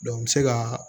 n bɛ se ka